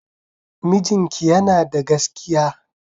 Mijinki yana da gaskiya.